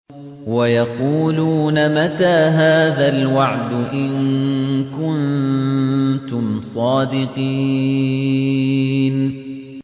وَيَقُولُونَ مَتَىٰ هَٰذَا الْوَعْدُ إِن كُنتُمْ صَادِقِينَ